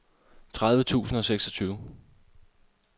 tredive tusind og seksogtyve